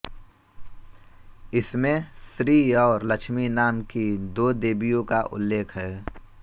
इसमें श्री और लक्ष्मी नाम की दो देवियों का उल्लेख है